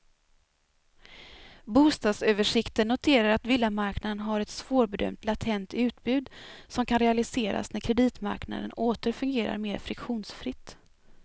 Bostadsöversikten noterar att villamarknaden har ett svårbedömt latent utbud, som kan realiseras när kreditmarknaden åter fungerar mer friktionsfritt.